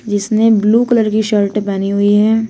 जिसने blue colour की shirt पहनी हुई है।